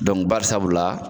barisabu la.